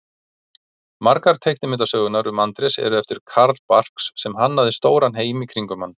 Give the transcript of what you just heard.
Margar teiknimyndasögurnar um Andrés eru eftir Carl Barks sem hannaði stóran heim í kringum hann.